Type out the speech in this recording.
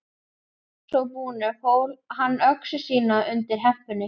Að svo búnu fól hann öxi sína undir hempunni.